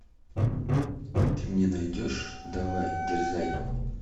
ты мне найдешь давай дерзай